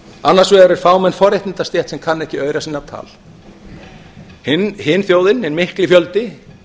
annars vegar er fámenn forréttindastétt sem kann ekki aura sinna tal hin þjóðin hinn mikli fjöldi